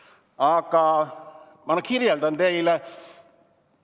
Aga ma kirjeldan teile seda.